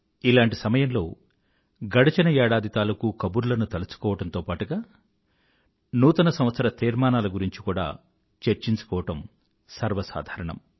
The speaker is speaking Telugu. ఇలాంటి సమయంలో గడచిన ఏడాది తాలూకూ కబుర్లను తలచుకోవడంతో పాటుగా నూతన సంవత్సర తీర్మానాల గురించి కూడా చర్చించుకోవడం సర్వసాధారణం